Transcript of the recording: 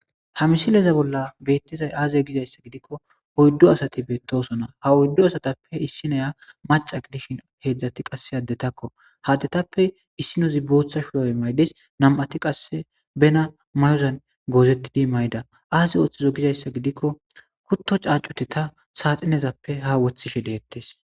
ha misileza bolla beettizay aaze gizayssa gidikko oyddo asati beettosona ha oyddo asatappe issinoya maca gidishshin heedzdzati qase addetakko haddetappe issinozi booththa shuwae maydes nam7ati qasse bena mayozan goozettidi mayda aase ooththizo gizayssa gidikko kutto caacute ta saaxinezappe ha woththishe deettes